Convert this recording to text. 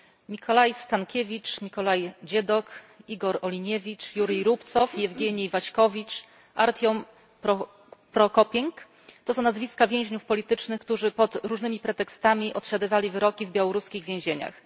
Nikolai Statkiewicz, Nikolai Dziadok, Igor Oliniewicz, Jurij Rubcow, Jewgienij Waśkowicz, Artiom Prokopienko to są nazwiska więźniów politycznych, którzy pod różnymi pretekstami odsiadywali wyroki w białoruskich więzieniach.